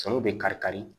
Sɔni bɛ kari kari